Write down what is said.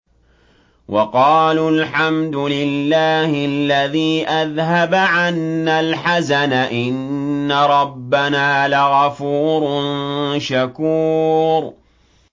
وَقَالُوا الْحَمْدُ لِلَّهِ الَّذِي أَذْهَبَ عَنَّا الْحَزَنَ ۖ إِنَّ رَبَّنَا لَغَفُورٌ شَكُورٌ